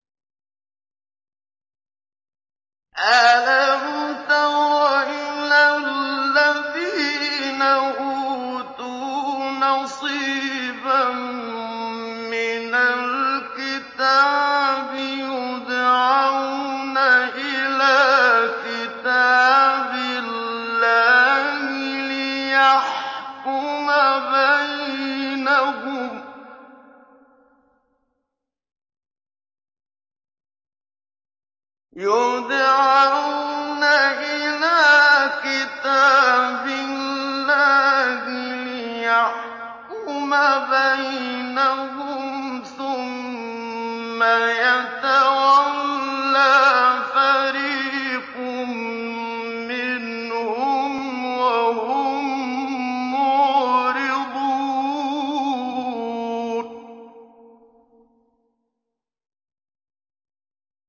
أَلَمْ تَرَ إِلَى الَّذِينَ أُوتُوا نَصِيبًا مِّنَ الْكِتَابِ يُدْعَوْنَ إِلَىٰ كِتَابِ اللَّهِ لِيَحْكُمَ بَيْنَهُمْ ثُمَّ يَتَوَلَّىٰ فَرِيقٌ مِّنْهُمْ وَهُم مُّعْرِضُونَ